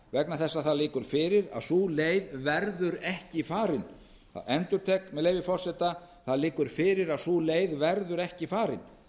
vegna þess að það liggur fyrir að sú leið verður ekki farin ég endurtek með leyfi forseta það liggur fyrir að sú leið verður ekki farin